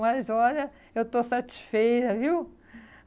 Mas, olha, eu estou satisfeita, viu?